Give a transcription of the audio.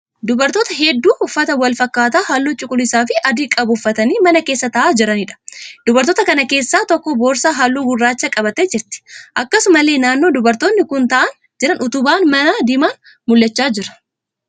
Dubartoota hedduu uffata wal fakkaataa halluu cuquliisaa fi adii qabu uffatanii mana keessa ta'aa jiraniidha. Dubartoota kana keessaa tokkoo boorsaa halluu gurraachaa qabattee jirti. Akkasumallee naannoo dubartoonni kun ta'aa jiran utubaan manaa diimaan mul'achaa jira.